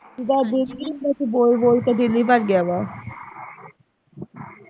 ਹਾਂਜੀ ਬਸ ਬੋਲ ਬੋਲ ਕੇ ਦਿਲ ਹੀ ਭਰ ਗਿਆ ਵਾ